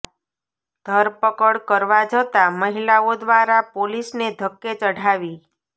ધરપકડ કરવા જતાં મહિલાઓ દ્વારા પોલીસ ને ધક્કે ચઢાવી